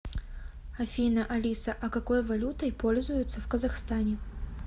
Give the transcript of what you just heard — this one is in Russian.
афина алиса а какой валютой пользуются в казахстане